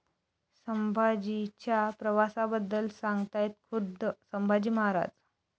संभाजी'च्या प्रवासाबद्दल सांगतायत खुद्द संभाजी महाराज